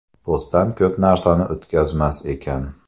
Postdan ko‘p narsani o‘tkazmas ekan.